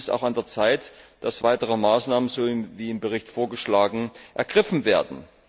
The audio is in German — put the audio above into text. Und es ist auch an der Zeit, dass weitere Maßnahmen, wie im Bericht vorgeschlagen, ergriffen werden.